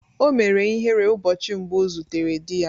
O mere ihere ụbọchị mbụ ọ zutere di ya.